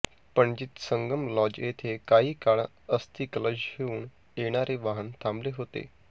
पणजीत Sangam lodge येथे काही काळ अस्थिकलश घेऊन येणारे वाहन थांबले होते